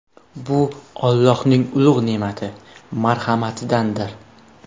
Bu Allohning ulug‘ ne’mati, marhamatidandir.